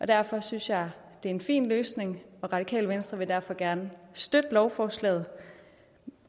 derfor synes jeg det er en fin løsning radikale venstre vil derfor gerne støtte lovforslaget